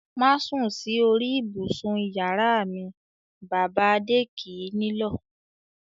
"Má sùn sí orí ibùsùn ìyàrá m!" Bàbá Adé kì í nílọ̀.